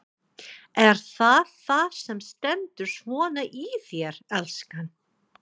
Er það það sem stendur svona í þér, elskan?